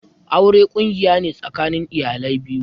Aure ƙungiya ne tsakanin iyale biyu.